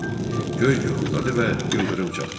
Göy guruldadı və ildırım çaxdı.